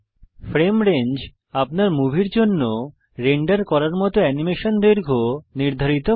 frame range আপনার মুভির জন্য রেন্ডার করার মত অ্যানিমেশন দৈর্ঘ্য নির্ধারিত করে